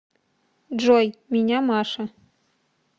джой меня маша